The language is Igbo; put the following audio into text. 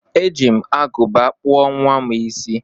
E ji m aguba kpụọ nwam isi